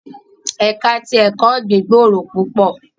Ẹka ti ẹkọ ọgbin gbooro pupọ